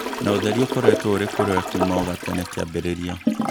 Na ũtheri ũkoretwo ũrĩ kũrĩwe kuma o gatene kĩambĩrĩria